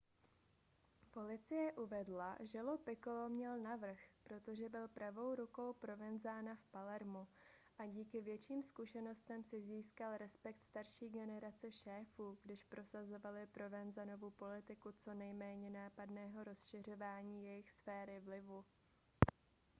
policie uvedla že lo piccolo měl navrch protože byl pravou rukou provenzana v palermu a díky větším zkušenostem si získal respekt starší generace šéfů když prosazovali provenzanovu politiku co nejméně nápadného rozšiřování jejich sféry vlivu